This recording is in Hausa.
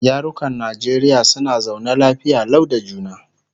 yarukan Najeriya suna zaune lafiya Lau da juna